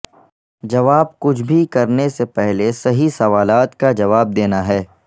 جواب کچھ بھی کرنے سے پہلے صحیح سوالات کا جواب دینا ہے